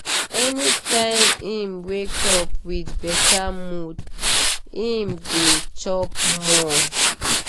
anytime him wake up with better mood him dey chop more.